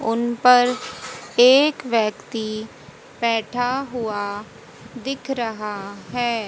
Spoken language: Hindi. उन पर एक व्यक्ति बैठा हुआ दिख रहा है।